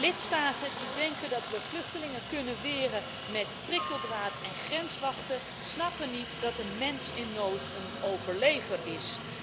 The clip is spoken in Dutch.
Lidstaten die denken dat we vluchtelingen kunnen weren met prikkeldraad en grenswachten, snappen niet dat een mens in nood een overlever is.